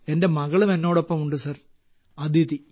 എന്റെ മകളും എന്നോടൊപ്പം ഉണ്ട് സർ അദിതി